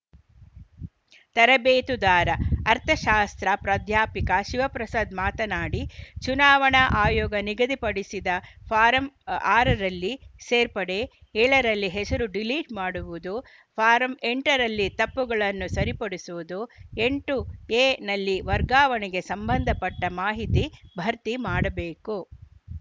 ತರಬೇತುದಾರ ಅರ್ಥಶಾಸ್ತ್ರ ಪ್ರಾಧ್ಯಾಪಿಕ ಶಿವಪ್ರಸಾದ್‌ ಮಾತನಾಡಿ ಚುನಾವಣಾ ಆಯೋಗ ನಿಗದಿಪಡಿಸಿದ ಫಾರಂ ಆರರಲ್ಲಿ ಸೇರ್ಪಡೆ ಏಳರಲ್ಲಿ ಹೆಸರು ಡಿಲೀಟ್‌ ಮಾಡುವುದು ಫಾರಂ ಎಂಟರಲ್ಲಿ ತಪ್ಪುಗಳನ್ನು ಸರಿಪಡಿಸುವುದು ಎಂಟು ಎ ನಲ್ಲಿ ವರ್ಗಾವಣೆಗೆ ಸಂಬಂಧಪಟ್ಟಮಾಹಿತಿ ಭರ್ತಿ ಮಾಡಬೇಕು